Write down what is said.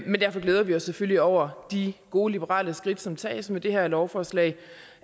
men derfor glæder vi os selvfølgelig over de gode liberale skridt som tages med det her lovforslag